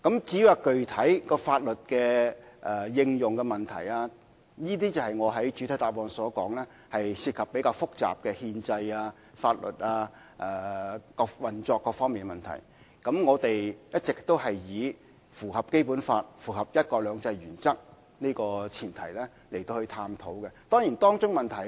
至於具體如何應用法律，我在作出主體答覆時說過當中涉及比較複雜的憲制、法律及運作問題，而我們一直是在符合《基本法》及"一國兩制"的前提下進行商討。